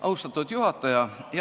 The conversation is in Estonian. Austatud juhataja!